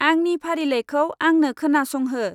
आंनि फारिलाइखौ आंनो खोनासंहो।